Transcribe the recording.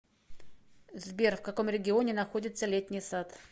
сбер в каком регионе находится летний сад